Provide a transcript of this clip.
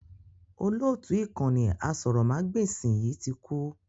Olóótù ìkànnì aṣórómagbesìn yìí tí kú